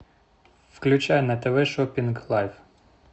включай на тв шопинг лайф